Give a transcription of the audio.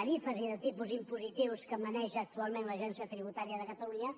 tarifes i els tipus impositius que maneja actualment l’agència tributària de catalunya